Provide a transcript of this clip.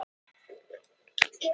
Það er sjálfsagt nauðsyn